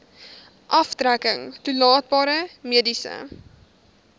aftrekking toelaatbare mediese